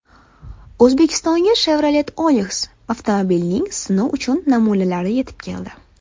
O‘zbekistonga Chevrolet Onix avtomobilining sinov uchun namunalari yetib keldi.